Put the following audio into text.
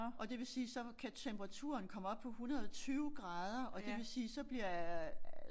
Og det vil sige så kan temperaturen komme op på 120 grader og det vil sige så bliver øh